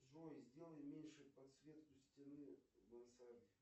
джой сделай меньше подсветку стены в мансарде